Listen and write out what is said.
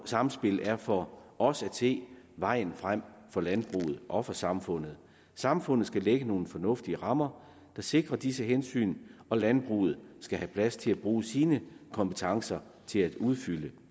samspil er for os at se vejen frem for landbruget og for samfundet samfundet skal lægge nogle fornuftige rammer der sikrer disse hensyn og landbruget skal have plads til at bruge sine kompetencer til at udfylde